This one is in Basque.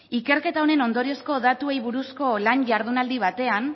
ikerketa honen ondoriozko datuei buruzko lan jardunaldi batean